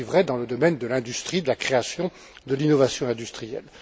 C'est aussi vrai dans le domaine de l'industrie, de la création, de l'innovation industrielle